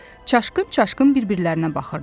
Çaşqın-çaşqın bir-birlərinə baxırdılar.